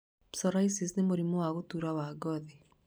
Psoriasis nĩ mũrimũ wa gũtũra wa ngothi